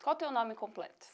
Qual o teu nome completo?